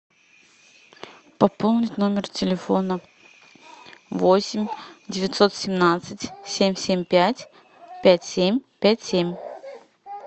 пополнить номер телефона восемь девятьсот семнадцать семь семь пять пять семь пять семь